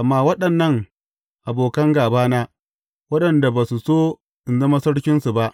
Amma waɗannan abokan gābana, waɗanda ba su so in zama sarkinsu ba,